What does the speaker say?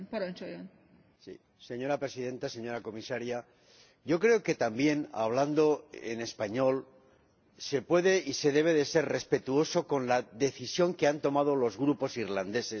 Señora Presidenta, señora Comisaria, yo creo que también hablando en español se puede y se debe ser respetuoso con la decisión que han tomado los grupos irlandeses en este proceso.